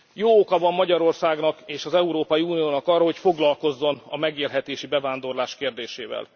Jó oka van Magyarországnak és az Európai Uniónak arra, hogy foglalkozzon a megélhetési bevándorlás kérdésével.